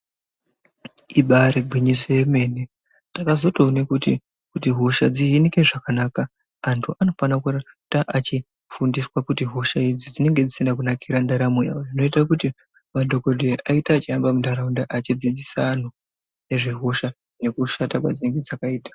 Ibairi gwinyiso yemene takazotoone kuti hosha dzi hinike zvakanaka antu anofana kuita achi fundiswe kuti hosha idzi dzinenge dzisina kunakira ndaramo yavo zvinoita kuti madhokodheya aite achi hamba mu ndaraunda achi dzidzisina anhu nezve hosha nekushata kwadzinenge dzakaita.